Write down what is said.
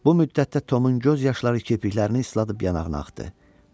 Bu müddətdə Tomun göz yaşları kipriklərini isladıb yanağına axmaqda idi.